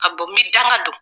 Ka bɔ n bɛ danga don